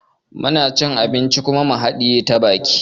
Muna cin abinci kuma mu haɗiye ta baki